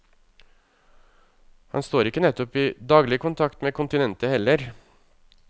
Han står ikke nettopp i daglig kontakt med kontinentet heller.